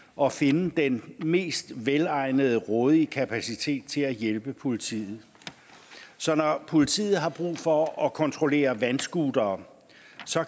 og finde den mest velegnede rådige kapacitet til at hjælpe politiet så når politiet har brug for at kontrollere vandscootere